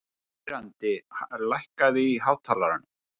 Þiðrandi, lækkaðu í hátalaranum.